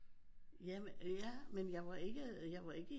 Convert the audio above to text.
Ja men ja men jeg var ikke i øh jeg var ikke